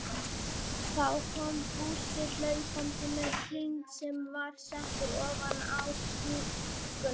Þá kom Fúsi hlaupandi með hring sem var settur ofan á tunnuna.